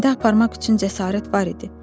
Məndə aparmaq üçün cəsarət var idi.